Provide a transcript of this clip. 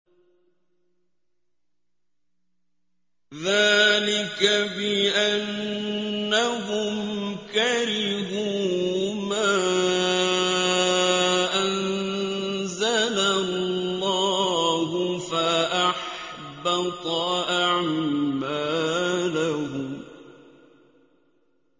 ذَٰلِكَ بِأَنَّهُمْ كَرِهُوا مَا أَنزَلَ اللَّهُ فَأَحْبَطَ أَعْمَالَهُمْ